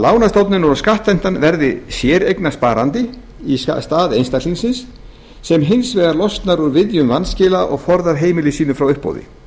og skattheimtan verði séreignarsparandi í stað einstaklingsins sem hins vegar losnar úr viðjum vanskila og forðar heimili sínu frá uppboði